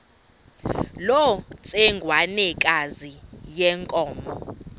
loo ntsengwanekazi yenkomo